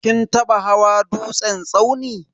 Kin taba hawa dutsen tsauni?